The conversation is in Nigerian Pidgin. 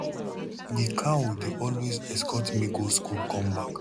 di cow dey always escort me go school come back